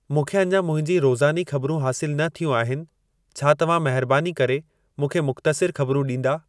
मूंखे अञा मुंहिंजी रोज़ानी ख़बरूं हासिलु न थियूं आहिनि छा तव्हां महिरबानी करे मूंखे मुख़्तसिर ख़बरूं ॾींदा